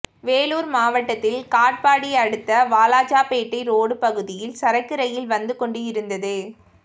வேலூர் மாவட்டத்தில் காட்பாடி அடுத்த வாலாஜாபேட்டை ரோடு பகுதியில் சரக்கு ரயில் வந்து கொண்டிருந்தது